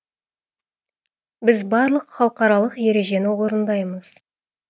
біз барлық халықаралық ережені орындаймыз